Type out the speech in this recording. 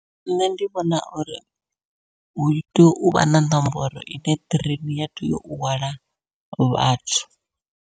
Nṋe ndi vhona uri hu tea uvha na ṋomboro ine ṱireini ya tea u hwala vhathu.